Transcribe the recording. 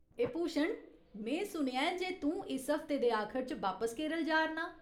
ए भूषण, में सुनेआ ऐ जे तूं इस हफ्ते दे आखर च बापस केरल जा'रनां।